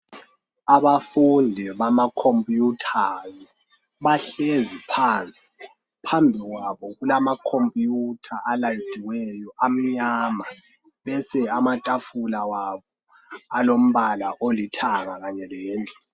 Abafundi bama computers bahlezi phansi phambi kwabo kulamacomputer alayiniweyo amnyama bese amatafula abo alombala olithanga kanye